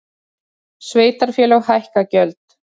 Sveitarfélög hækka gjöld